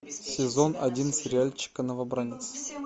сезон один сериальчика новобранец